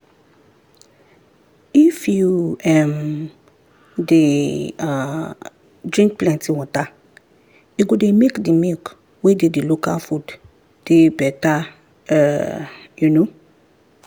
if you um dey um drink plenty water e go dey make the milk wey dey the local food dey better um